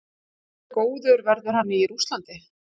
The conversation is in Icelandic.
Hversu góður verður hann í Rússlandi?